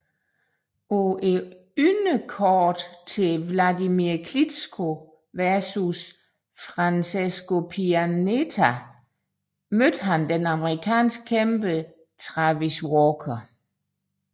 På underkortet til Wladimir Klitschko vs Francesco Pianeta mødte han den amerikansk kæmpe Travis Walker